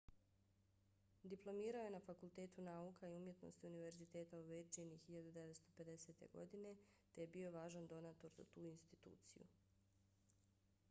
diplomirao je na fakultetu nauka i umjetnosti univerziteta u virdžiniji 1950. godine te je bio važan donator za tu instituciju